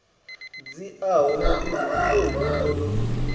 dziaho mugudi u tou longondo